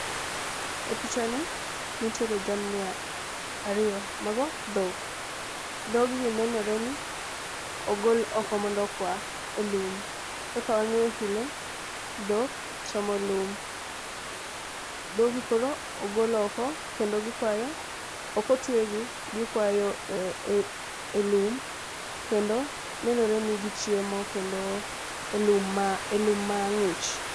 E picha ni nitiere jamni a ariyo mago dhok . Dhog gi nenore ni ogol oko mondo okwa e lum. Kaka wang'eyo pile ,dhok chamo lum. Dhogi koro ogol oko kendo gikwayo ok otwegi gikwayo e e lum kendo nenore ni gichiemo kendo e lum ma e lum mang'ich.